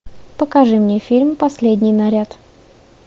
покажи мне фильм последний наряд